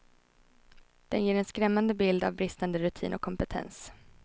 Den ger en skrämmande bild av bristande rutin och kompetens.